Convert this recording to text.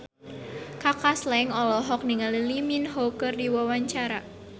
Kaka Slank olohok ningali Lee Min Ho keur diwawancara